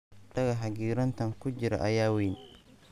Dhagaxa giraantan ku jira ayaa weyn